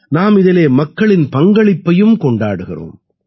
நாம் இதிலே மக்களின் பங்களிப்பையும் கொண்டாடுகிறோம்